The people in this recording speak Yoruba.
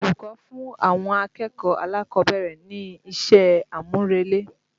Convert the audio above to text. Olùkọ́ fún àwọn akẹ̀kọ̀ọ́ alákọ̀ọ́bẹ̀rẹ̀ ní iṣẹ́ àmúrelé.